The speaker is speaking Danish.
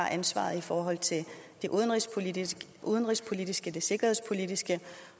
har ansvaret i forhold til det udenrigspolitiske udenrigspolitiske det sikkerhedspolitiske